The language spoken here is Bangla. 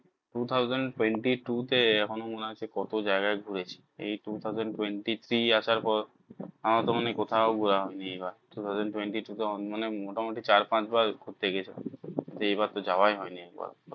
Two thousand twenty-two তে এখনো মনে হয় কত যায়গায় ঘুরেছি এই two thousand twenty three আসার পর আমার তো মনে হয় কোথাও ঘোরা হয়নি two thousand twenty two তে মোটামুটি চার পাঁচ বার ঘুরতে গেছি এইবার তো যাওয়াই হয়নি একবার ও